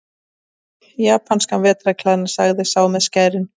Aha, japanskan vetrarklæðnað, sagði sá með skærin.